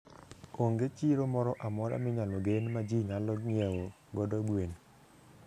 Onge chiro moro amora minyalo gen ma ji nyalo ng'iewo godo gwen.